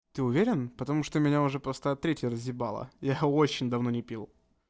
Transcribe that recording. ты уверен потому что меня уже просто от третьей разъебало я очень давно не пил